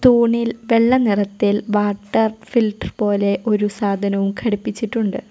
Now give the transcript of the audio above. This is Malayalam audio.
തൂണിൽ വെള്ള നിറത്തിൽ വാട്ടർ ഫിൽറ്റർ പോലെ ഒരു സാധനവും ഘടിപ്പിച്ചിട്ടുണ്ട്.